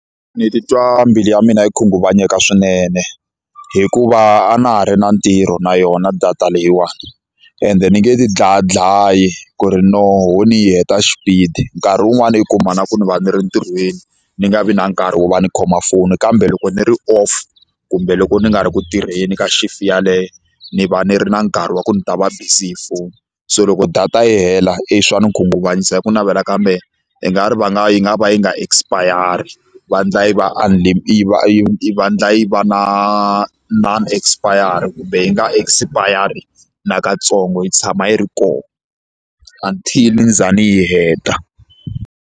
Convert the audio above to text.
Ni titwa mbilu ya mina yi khunguvanyeka swinene hikuva a na ha ri na ntirho na yona data leyiwani ende ni nge ti dlayadlayi ku ri no ho ni yi heta xipidi nkarhi wun'wani u kuma na ku ni va ni ri ntirhweni ni nga vi na nkarhi wo va ni khoma foni kambe loko ni ri off kumbe loko ni nga ri ku tirheni ka shift yaleyo ni va ni ri na nkarhi wa ku ni ta va busy hi foni so loko data yi hela e swa ni khunguvanyisa hi ku navela kambe i nga ri va nga yi nga va yi nga expire-yari va endla yi va yi va va endla yi va na na non-expire-ri kumbe yi nga expire-ri nakatsongo yi tshama yi ri kona until ni za ni yi heta.